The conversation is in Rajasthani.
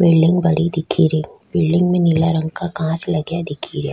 बिलडिंग बड़ी दिखे री बिलडिंग में नीला रंग का कांच लगया दिखे रिया।